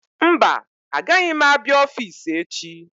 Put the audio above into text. Mba agaghị m abịa ọffici echi.